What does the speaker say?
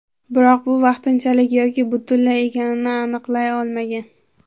Biroq bu vaqtinchalik yoki butunlay ekanini aniqlay olmagan.